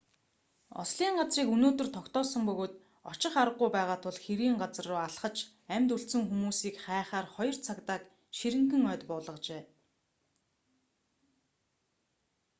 ослын газрыг өнөөдөр тогтоосон бөгөөд очих аргагүй байгаа тул хэргийн газар руу алхаж амьд үлдсэн хүмүүсийг хайхаар хоёр цагдааг ширэнгэн ойд буулгажээ